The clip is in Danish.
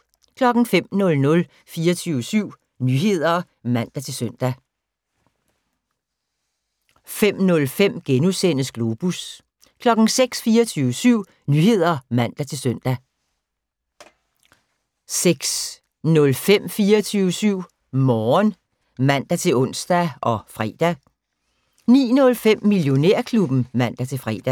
05:00: 24syv Nyheder (man-søn) 05:05: Globus * 06:00: 24syv Nyheder (man-søn) 06:05: 24syv Morgen (man-ons og fre) 09:05: Millionærklubben (man-fre)